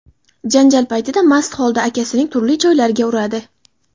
janjal paytida mast holda akasining turli joylariga uradi.